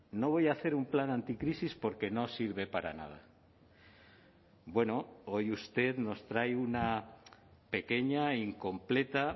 no voy a hacer un plan anticrisis porque no sirve para nada bueno hoy usted nos trae una pequeña incompleta